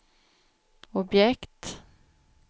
objekt